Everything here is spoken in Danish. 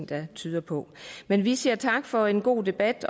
der tyder på men vi siger tak for en god debat